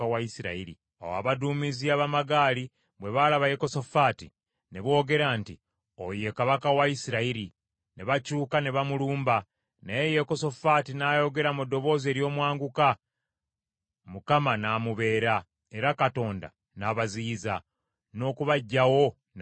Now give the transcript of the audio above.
Awo abaduumizi ab’amagaali bwe balaba Yekosafaati, ne boogera nti, “Oyo ye kabaka wa Isirayiri.” Ne bakyuka ne bamulumba, naye Yekosafaati n’ayogera mu ddoboozi ery’omwanguka, Mukama n’amubeera, era Katonda n’abaziyiza, n’okubaggyawo n’abaggyawo.